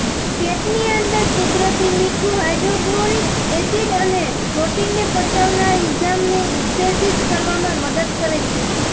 પેટની અંદર કુદરતી મીઠું હાઈડ્રોકલોરીક એસીડ અને પ્રોટીનને પચાવનાર ઇંજાઈમને ઉત્તેજીત કરવામાં મદદ કરે છે